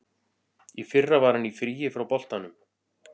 Í fyrra var hann í fríi frá boltanum.